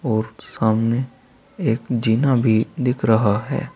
और सामने एक जीना भी दिख रहा है।